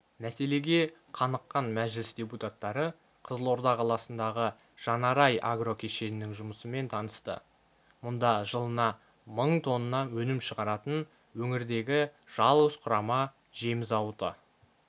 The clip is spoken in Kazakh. мәселеге қаныққан мәжіліс депутаттары қызылорда қаласындағы жан-арай агрокешенінің жұмысымен танысты мұнда жылына мың тонна өнім шығаратын өңірдегі жалғыз құрама жем зауыты